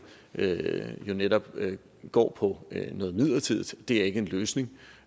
netop går på noget midlertidigt det er ikke en løsning